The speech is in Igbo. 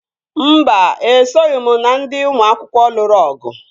Mba, esoghị m na ndị ụmụ akwụkwọ lụrụ ọgụ